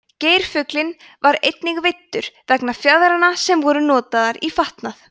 geirfuglinn var einnig veiddur vegna fjaðranna sem voru notaðar í fatnað